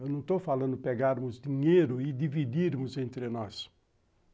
Eu não estou falando em pegarmos dinheiro e dividirmos entre nós.